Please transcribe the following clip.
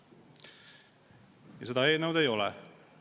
Seda ei ole.